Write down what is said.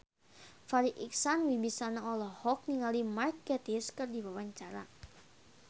Farri Icksan Wibisana olohok ningali Mark Gatiss keur diwawancara